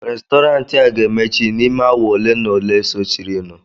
Restọrantị a ga-emechi n'ime awa ole na ole sochirinụ